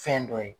Fɛn dɔ ye